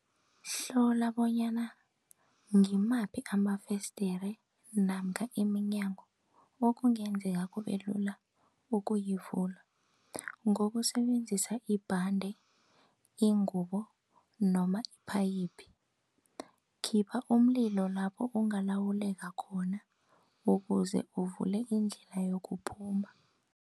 Hlola bonyana ngimaphi amafesdere namkha iminyango, okungenzeka kube lula ukuyivula ngokusebenzisa ibhande, ingubo noma iphayiphi. Khipha umlilo lapho ungalawuleka khona, ukuze uvule indlela yokuphuma.